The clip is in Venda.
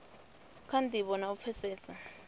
kha ndivho na u pfesesa